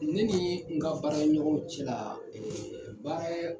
Ne nii n ka baara ɲɔgɔnw cɛlaa baara yɛ